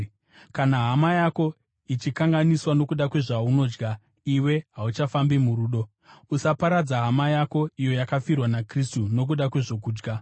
Kana hama yako ichikanganiswa nokuda kwezvaunodya, iwe hauchafambi murudo. Usaparadza hama yako, iyo yakafirwa naKristu, nokuda kwezvokudya.